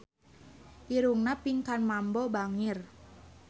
Irungna Pinkan Mambo bangir